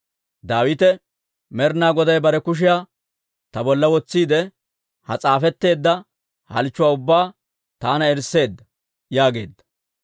Daawite, «Med'inaa Goday bare kushiyaa ta bolla wotsiide, ha s'aafetteedda halchchuwaa ubbaa taana eriseedda» yaageedda.